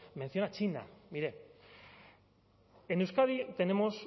menciona china mire en euskadi tenemos